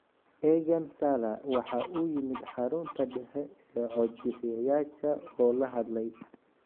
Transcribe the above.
Eagan Salla waxa uu yimid xarunta dhexe ee cod-bixiyayaasha oo la hadlay.